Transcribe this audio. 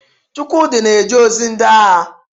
Chukwudi na-eje ozi ndị agha.